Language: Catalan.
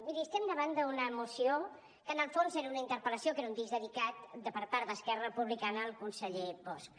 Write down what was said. miri estem davant d’una moció que en el fons era una interpel·lació que era un disc dedicat per part d’esquerra republicana al conseller bosch